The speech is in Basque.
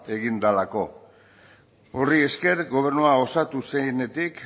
egin delako horri esker gobernua osatu zenetik